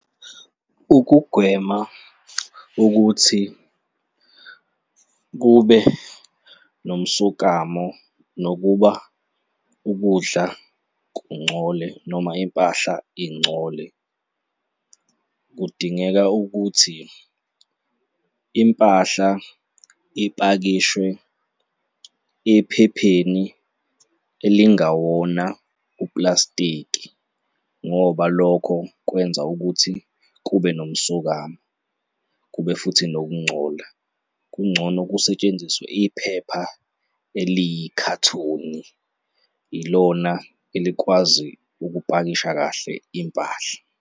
Ukugwema ukuthi kube nomsokamo nokuba ukudla kungcole noma impahla ingcole, kudingeka ukuthi impahla ipakishwe ephepheni elingawona upulasitiki ngoba lokho kwenza ukuthi kube nomsokamo, kube futhi nokungcola, kungcono kusetshenziswe iphepha eliyikhathoni, ilona elikwazi ukupakisha kahle impahla.